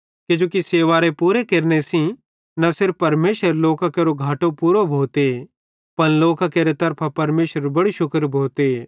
किजोकि सेवारे पूरे केरने सेइं न सिर्फ परमेशरेरे लोकां केरो घाटो पूरो भोते पन लोकां केरे तरफां परमेशरेरू बड़ू शुक्र भोते